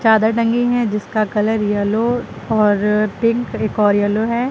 चादर टंगी हैं जिसका कलर येलो और पिंक एक और येलो है।